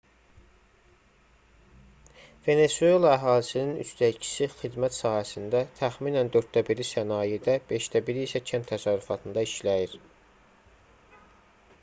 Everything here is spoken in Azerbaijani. venesuela əhalisinin üçdə ikisi xidmət sahəsində təxminən dörddə biri sənayedə beşdə biri isə kənd təsərrüfatında işləyir